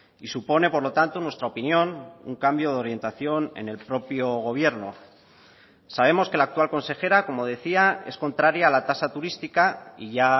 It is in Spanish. y supone por lo tanto en nuestra opinión un cambio de orientación en el propio gobierno sabemos que la actual consejera como decía es contraria a la tasa turística y ya